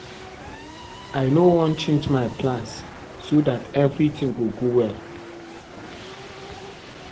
I no wan change my plans so dat every thing go go well